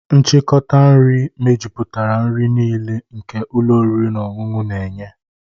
Nchịkọta nri mejuputara nri niile nke ụlọ oriri na ọṅụṅụ na-enye.